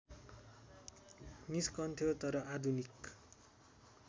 निस्कन्थ्यो तर आधुनिक